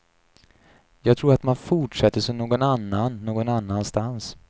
Jag tror att man fortsätter som någon annan någon annanstans.